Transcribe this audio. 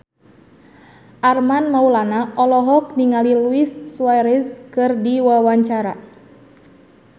Armand Maulana olohok ningali Luis Suarez keur diwawancara